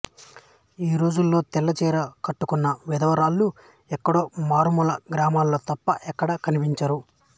ఈ రోజుల్లో తెల్లచీర కట్టుకున్న విధవరాళ్ళు ఎక్కడో మారు మూల గ్రామాల్లో తప్ప ఎక్కడా కనిపించరు